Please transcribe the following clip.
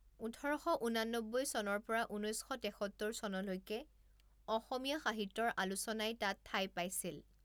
ওঠৰ শ ঊনান্নব্বৈ চনৰ পৰা ঊনৈছ শ তেসত্তৰ চনলৈকে অসমীয়া সাহিত্যৰ আলোচনাই তাত ঠাই পাইিছল।